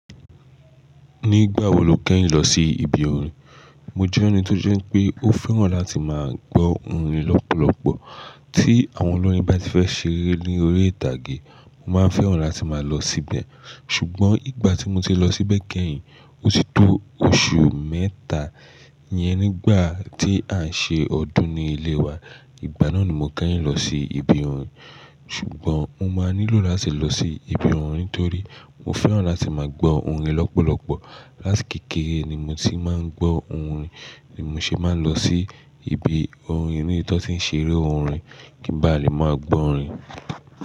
Nígbà wo lo kẹ́yìn lọ sí ibi orin? Mo jẹ́ ẹni tó jẹ́ pé ó fẹ́ràn láti máa gbọ́ orin lọ́pọ̀lọ́pọ̀. Tí àwọn olórin bá ti fẹ́ ṣeré ní orí ìtàgé, mo máa ń fẹ́ràn láti máa lọ síbẹ̀. Ṣùgbọ́n ìgbà tí mo ti lọ síbẹ̀ kẹ́yìn, ó ti tó oṣù mẹ́ta yẹn nígbà tí à ń ṣe ọdún ní ilé wa. Ìgbà náà ni mo kẹ́yìn lọ sí ibi orin. Ṣùgbọ́n mo máa nílò láti lọ sí ibi orin torí mo fẹ́ràn láti máa gbọ́ orin lọ́pọ̀lọ́pọ̀. Láti kékeré ni mo ti máa ń gbọ́ orin ni mo ṣe máa ń lọ sí ibi orin níbi tí wọ́n tí ń ṣeré orin kí n bá lè máa gbọ́ orin.